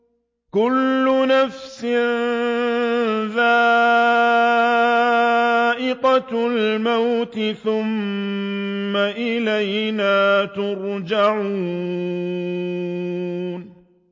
كُلُّ نَفْسٍ ذَائِقَةُ الْمَوْتِ ۖ ثُمَّ إِلَيْنَا تُرْجَعُونَ